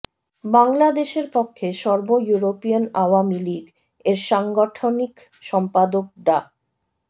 বাংলাদেশের পক্ষে সর্ব ইউরোপিয়ান আওয়ামী লীগ এর সাংগঠনিক সম্পাদক ডা